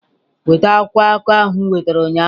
Weta akwụkwọ akụkọ ahụ m nwetara ụnyaahụ!